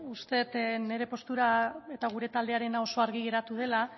uste dut nire postura eta gure taldearena oso argi geratu dela